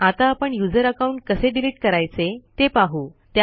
आता आपण user account कसे डिलीट करायचे ते पाहू